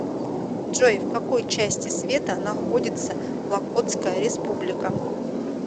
джой в какой части света находится локотская республика